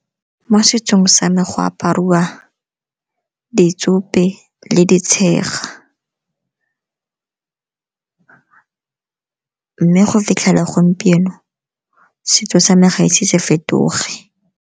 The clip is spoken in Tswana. Mo setsong sa me go apariwa ditsope le ditshega mme go fitlhela gompieno setso sa me gae ise se fetoge.